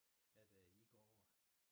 At øh i går over